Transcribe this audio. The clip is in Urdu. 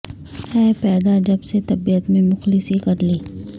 ہے پیدا جب سے طبیعت میں مخلصی کر لی